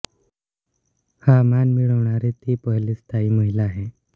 हा मान मिळवणाऱी ती पहिलीच थाई महिला आहे